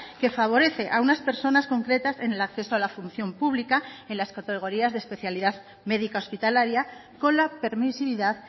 que favorece a unas personas concretas en el acceso a la función pública en las categorías de especialidad médica hospitalaria con la permisividad